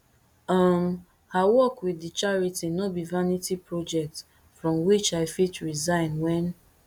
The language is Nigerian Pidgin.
um her work wit di charity no be vanity project from which i fit resign wen